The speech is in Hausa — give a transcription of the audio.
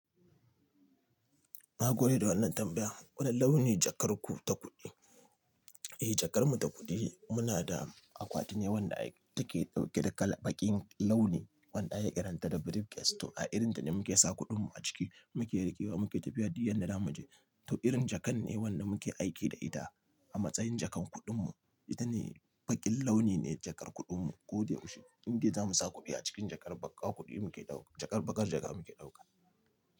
Na gode da wannan tambaya. Wane launi jakar ku ta kuɗi? Eh, jakar mu ta kuɗi muna da akwati ne wanda take ɗauke da kala baƙin launi wanda aka kiranta da briefcase to a irin ta ne muke sa kuɗin mu a ciki, muke riƙewa muke tafiya duk inda zamu je. To irin jakan ne wanda muke aiki da ita a matsayin jakan kuɗin mu. Ita ne baƙin launi ne jakar kuɗin mu. Ko dai mu shiga Inde zamu sa kuɗi a cikin jakar baƙar kuɗi muke ɗauka jakar baƙar jaka muke ɗauka.